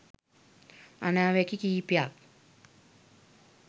අනාවැකි කිහිපයක්